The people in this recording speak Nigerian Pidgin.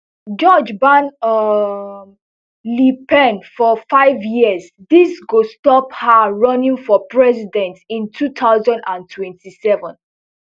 judge ban um le pen for fiveyears dis go stop her running for president in two thousand and twenty-seven